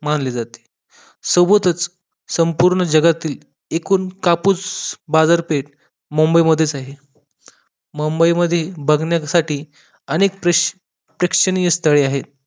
मानली जाते सोबतच संपूर्ण जगातील एकूण कापूस बाजारपेठ मुंबई मधेच आहे मुंबई मध्ये बघण्यासाठी अनेक प्रेक्षणीय स्थळे आहेत